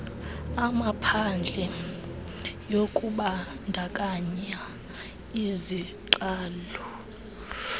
amaphadle yokubandakanya iziqalo